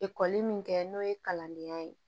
Ekɔli min kɛ n'o ye kalandenya ye